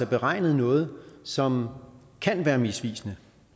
beregnet noget som kan være misvisende